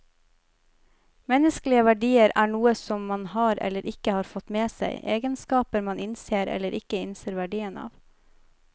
Menneskelige verdier er noe som man har, eller ikke har fått med seg, egenskaper man innser eller ikke innser verdien av.